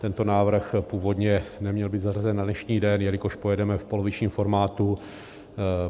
Tento návrh původně neměl být zařazen na dnešní den, jelikož pojedeme v polovičním formátu.